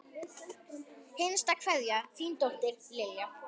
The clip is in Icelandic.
Hinsta kveðja, þín dóttir, Lilja.